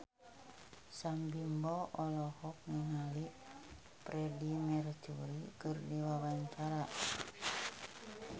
Sam Bimbo olohok ningali Freedie Mercury keur diwawancara